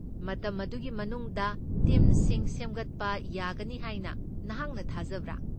ꯃꯇꯝ ꯑꯗꯨꯒꯤ ꯃꯅꯨꯡꯗ ꯇꯤꯝꯁꯤꯡ ꯁꯦꯝꯒꯠꯄ ꯌꯥꯒꯅꯤ ꯍꯥꯏꯅ ꯅꯍꯥꯛꯅ ꯊꯥꯖꯕ꯭ꯔꯥ?